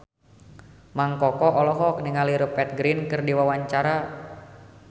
Mang Koko olohok ningali Rupert Grin keur diwawancara